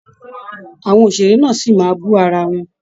Àwọn òṣèré náà sí máa bú ara wọn